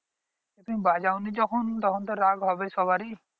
তুমি বাঁজাওনি যখন তখনতো রাগ হবে সবাড়ির